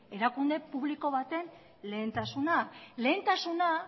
erakunde publiko baten lehentasuna lehentasuna